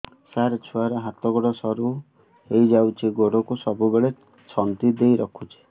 ସାର ଛୁଆର ହାତ ଗୋଡ ସରୁ ହେଇ ଯାଉଛି ଗୋଡ କୁ ସବୁବେଳେ ଛନ୍ଦିଦେଇ ରଖୁଛି